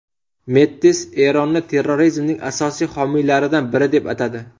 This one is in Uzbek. Mettis Eronni terrorizmning asosiy homiylaridan biri deb atadi.